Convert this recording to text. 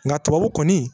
Nka tubabu kɔni